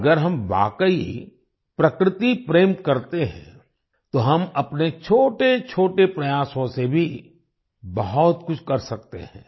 अगर हम वाकई प्रकृति प्रेम करते हैं तो हम अपने छोटेछोटे प्रयासों से भी बहुत कुछ कर सकते हैं